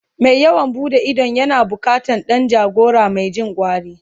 Mai yawon buɗe idon yana bukatan Dan jagora Mai Jin gwari